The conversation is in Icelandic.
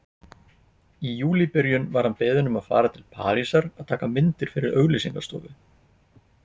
Í júlíbyrjun var hann beðinn um að fara til Parísar að taka myndir fyrir auglýsingastofu.